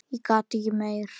En ég gat ekki meir.